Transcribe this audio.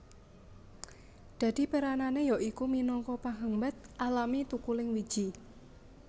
Dadi peranane ya iku minangka penghambat alami thukuling wiji